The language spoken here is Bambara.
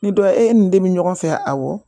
Ni dɔ ye e nin de bɛ ɲɔgɔn fɛ awɔ